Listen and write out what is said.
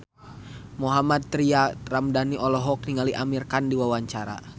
Mohammad Tria Ramadhani olohok ningali Amir Khan keur diwawancara